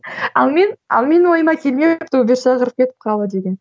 ал мен ал менің ойыма келмепті убер шақырып кетіп қалу деген